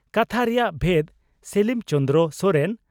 ᱠᱟᱛᱷᱟ ᱨᱮᱭᱟᱜ ᱵᱷᱮᱫᱽ (ᱥᱮᱞᱤᱢ ᱪᱚᱱᱫᱨᱚ ᱥᱚᱨᱮᱱ)